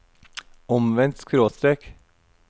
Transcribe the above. omvendt skråstrek